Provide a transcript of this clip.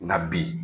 Na bi